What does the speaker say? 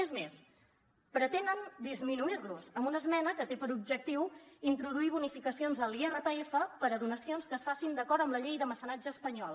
és més pretenen disminuir los amb una esmena que té per objectiu introduir bonificacions a l’irpf per a donacions que es facin d’acord amb la llei de mecenatge espanyol